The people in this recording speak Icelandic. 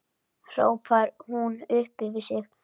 hrópar hún upp yfir sig.